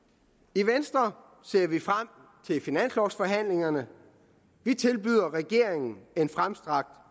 i venstre ser vi frem til finanslovforhandlingerne vi tilbyder regeringen en fremstrakt